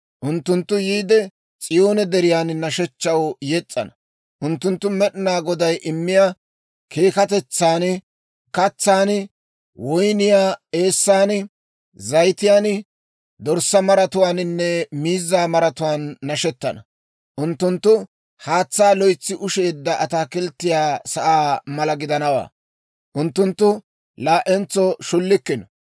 Unttunttu yiide S'iyoone Deriyan nashshechchaw yes's'ana; unttunttu Med'inaa Goday immiyaa keekkatetsan, katsaan, woyniyaa eessan, zayitiyaan, dorssaa maratuwaaninne miizzaa maratuwaan nashettana. Unttunttu haatsaa loytsi ushsheedda ataakilttiyaa sa'aa mala gidanawaa; unttunttu laa"entso shullikkino.